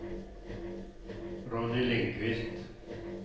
Ronny Lindqvist